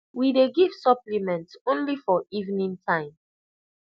we dey give supplement only for evening time